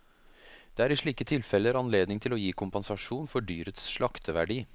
Det er i slike tilfeller anledning til å gi kompensasjon for dyrets slakteverdi.